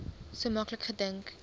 so maklik gedink